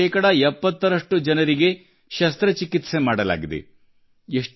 ಇವರಲ್ಲಿ ಶೇಕಡ 70ರಷ್ಟು ಜನರಿಗೆ ಶಸ್ತ್ರಚಿಕಿತ್ಸೆಯನ್ನು ಮಾಡಲಾಗಿದೆ